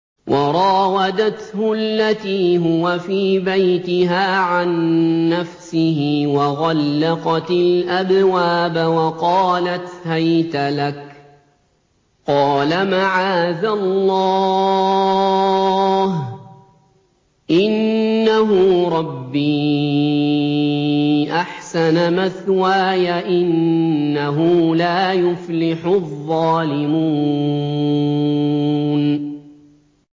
وَرَاوَدَتْهُ الَّتِي هُوَ فِي بَيْتِهَا عَن نَّفْسِهِ وَغَلَّقَتِ الْأَبْوَابَ وَقَالَتْ هَيْتَ لَكَ ۚ قَالَ مَعَاذَ اللَّهِ ۖ إِنَّهُ رَبِّي أَحْسَنَ مَثْوَايَ ۖ إِنَّهُ لَا يُفْلِحُ الظَّالِمُونَ